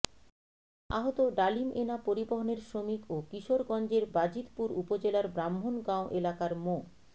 আহত ডালিম এনা পরিবহনের শ্রমিক ও কিশোরগঞ্জের বাজিতপুর উপজেলার ব্রাহ্মণগাঁও এলাকার মো